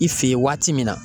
I fe yen waati min na